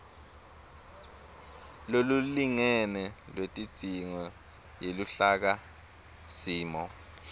lolulingene lwetidzingo yeluhlakasimo